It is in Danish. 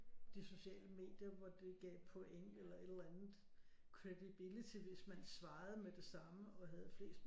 De sociale medier hvor det gav point eller et eller andet credibility hvis man svarede med det samme og havde flest